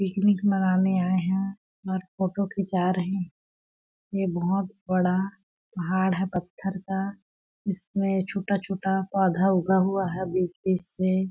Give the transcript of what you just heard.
picnic मनाने आए है और फोटो खींचा रहे ये बहुत बड़ा पहाड़ है पत्थर का इसमें छोटा-छोटा पौधा उगा हुवा है बीच-बीच से --